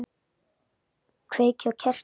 Kveiki á kertum.